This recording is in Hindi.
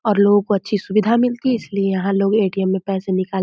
और लोगों को अच्छी सुविधा मिलती है इसलिए यहाँ लोग ए.टी.एम. में पैसा निकाल --